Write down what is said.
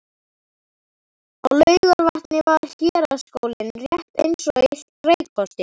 Á Laugarvatni var héraðsskóli rétt eins og í Reykholti.